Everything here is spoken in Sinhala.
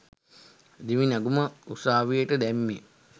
දිවි නැගුම උසාවියට දැම්මේ?